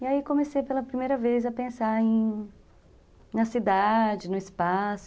E aí comecei pela primeira vez a pensar em na cidade, no espaço.